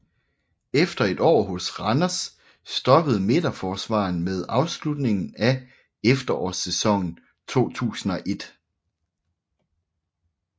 Efter et år hos Randers stoppede midterforsvareren med afslutningen af efterårssæsonen 2001